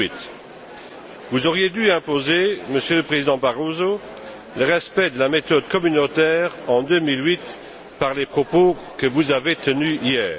2008. Vous auriez dû imposer, Monsieur le Président Barroso, le respect de la méthode communautaire en 2008 par les propos que vous avez tenus hier.